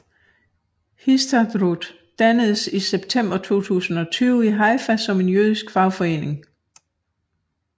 Histadrut dannedes i december 1920 i Haifa som en jødisk fagforening